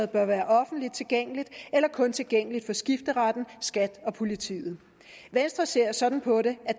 bør være offentligt tilgængeligt eller kun tilgængeligt for skifteretten skat og politiet venstre ser sådan på det at